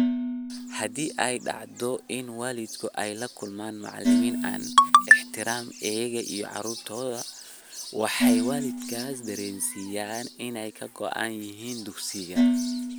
Haddii ay dhacdo in waalidku ay la kulmaan macalimiin aan ixtiraamin iyaga iyo caruurtooda, waxay waalidkaas dareensiiyaan inay ka go'an yihiin dugsiga.